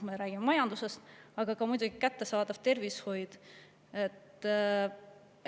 Me räägime majandusest, aga ka kättesaadav tervishoid on muidugi.